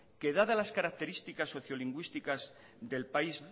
que dadas las características socio lingüísticas del país